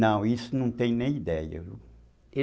Não, isso não tem nem ideia